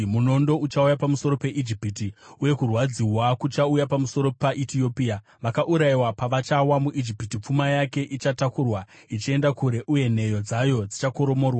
Munondo uchauya pamusoro peIjipiti, uye kurwadziwa kuchauya pamusoro paEtiopia. Vakaurayiwa pavachawa muIjipiti, pfuma yake ichatakurwa ichienda kure uye nheyo dzayo dzichakoromorwa.